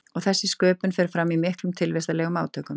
Og þessi sköpun fer fram í miklum tilvistarlegum átökum.